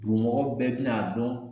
mɔgɔ bɛɛ bi n'a dɔn